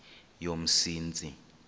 yomsintsi